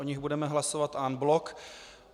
O nich budeme hlasovat en bloc.